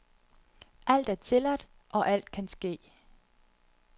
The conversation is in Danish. Alt er tilladt, og alt kan ske.